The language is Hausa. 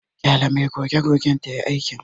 Ƙyale mai goge-gogen tayi aikin.